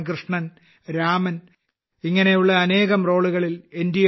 ഭഗവാൻ കൃഷ്ണൻ രാമൻ ഇങ്ങനെയുള്ള അനേകം റോളുകളിൽ എൻ